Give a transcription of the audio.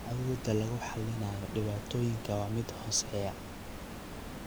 Awoodda lagu xallinayo dhibaatooyinka waa mid hooseeya.